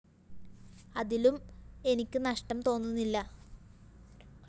അതിലും എനിക്ക് നഷ്ടം തോന്നുന്നില്ല